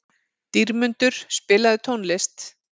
Dýrmundur, spilaðu tónlist.